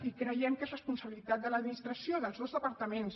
i creiem que és responsabilitat de l’administració dels dos departaments